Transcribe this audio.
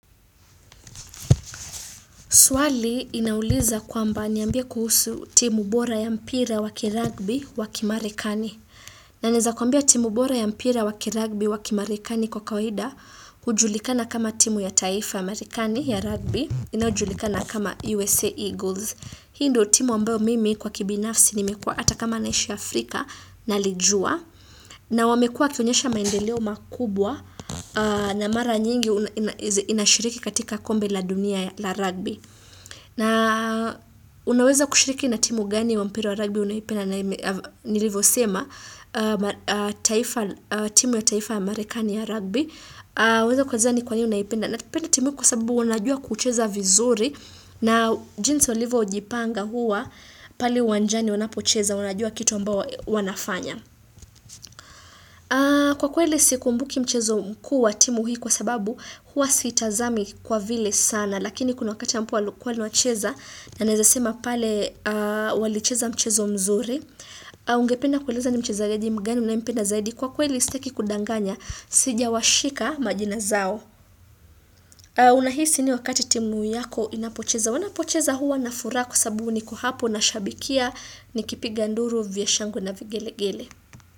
Swali inauliza kwamba niambie kuhusu timu bora ya mpira waki rugby waki marekani. Na nezakuambia timu bora ya mpira waki rugby waki marekani kwa kawaida, hujulikana kama timu ya taifa amerikani ya rugby, inayojulikana kama USA Eagles. Hii nddo timu wa ambayo mimi kwa kibinafsi nimekua hata kama naishi Afrika nalijua. Na wamekua wakionyesha maendeleo makubwa na mara nyingi inashiriki katika kombe la dunia la rugby. Na unaweza kushiriki na timu gani wampira wa rugby unaipenda na nilivyo sema, timu ya taifa amerikani ya rugby, unaipenda timu kwa sababu wanajua kucheza vizuri na jinsi walivyo kujipanga huwa pale uwanjani wanapocheza wanajua kitu ambayo wanafanya. Kwa kweli siku mbuki mchezo mkuu wa timu hii kwa sababu hua siitazami kwa vile sana Lakini kuna wakati ambapo walikuwa wacheza na naezasema pale walicheza mchezo mzuri Ungependa kueleza ni mchezaji mgani unayempenda zaidi kwa kweli sitaki kudanganya Sijawashika majina zao Unahisi nini wakati timu yako inapocheza wanapocheza hua na furaha sababu nikohapo na shabikia ni kipiga nduru vya shangwe na vigelegele.